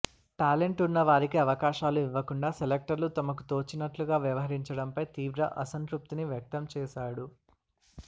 talent ఉన్న వారికి అవకాశాలు ఇవ్వకుండా సెలెక్టర్లు తమకు తోచినట్లుగా వ్యవహరించడంపై తీవ్ర అసంతృప్తిని వ్యక్తం చేశాడు